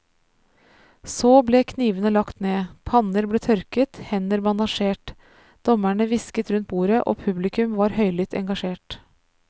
Så ble knivene lagt ned, panner ble tørket, hender bandasjert, dommerne hvisket rundt bordet og publikum var høylytt engasjert.